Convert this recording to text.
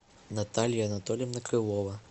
наталья анатольевна крылова